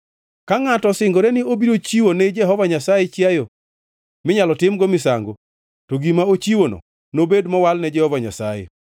“ ‘Ka ngʼato osingore ni obiro chiwo ne Jehova Nyasaye chiayo minyalo timgo misango, to gima ochiwono nobed mowal ne Jehova Nyasaye.